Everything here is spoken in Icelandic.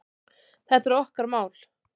Þetta er okkar mál.